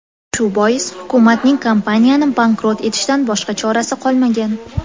Shu bois hukumatning kompaniyani bankrot etishdan boshqa chorasi qolmagan.